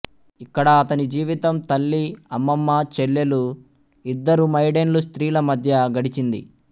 ఇక్కడ అతనిజీవితం తల్లి అమ్మమ్మ చెల్లెలు ఇద్దరు మైడేన్లు స్త్రీల మధ్య గడిచింది